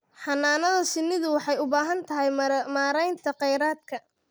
Xannaanada shinnidu waxay u baahan tahay maaraynta kheyraadka.